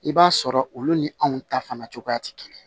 I b'a sɔrɔ olu ni anw ta fana cogoya tɛ kelen ye